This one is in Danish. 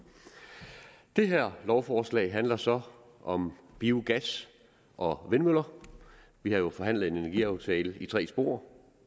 det her lovforslag handler så om biogas og vindmøller vi har jo forhandlet en energiaftale i tre spor